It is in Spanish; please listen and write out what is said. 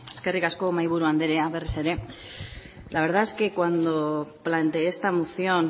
eskerrik asko mahaiburu andrea berriz ere la verdad es que cuando planteé esta moción